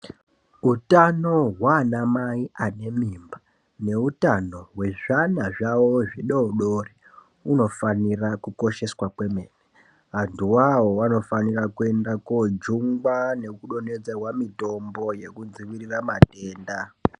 Utano hwanamai ane mimba nehutano wezvana zvawo zvidodori unofanira kukosheswa kwemene, antu wawo wanofanira kuenda kojungwa nekudonhedzerwa mitombo yekudzivirira matenda.